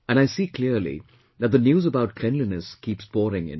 And I see clearly that the news about cleanliness keeps pouring in